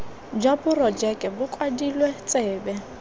jwa porojeke bo kwadilwe tsebe